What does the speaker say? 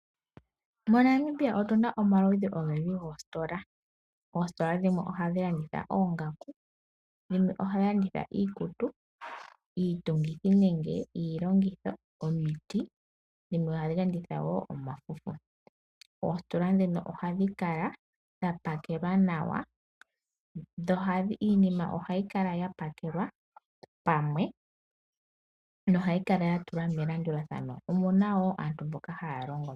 MoNamibia otuna omaludhi ogendji goostola. Oostola dhimwe ohadhi landitha oongaku, dhimwe ohadhi landitha iikutu, iitungithi nenge iilongitho, omiti , dhimwe ohadhi landitha wo omafufu. Oositola dhino ohadhi kala dha pakelwa nawa, iinima ohayi kala yapakelwa pamwe yo ohayi kala yatulwa melandulathano, omuna wo aantu mboka haya longo mo.